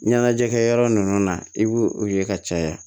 Ɲɛnajɛkɛ yɔrɔ ninnu na i b'o ye ka caya